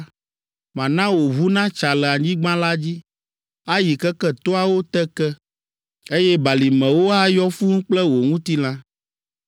Mana wò ʋu natsa le anyigba la dzi, Ayi keke toawo te ke, Eye balimewo ayɔ fũu kple wò ŋutilã.